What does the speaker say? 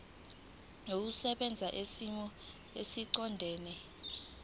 olusebenza kwisimo esiqondena